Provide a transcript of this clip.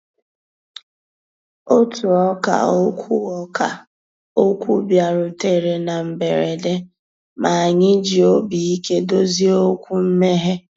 Ótú ọ̀kà òkwú ọ̀kà òkwú bìàrùtérè ná mbérèdé, mà ànyị́ jì òbí íké dòzié òkwú mméghé.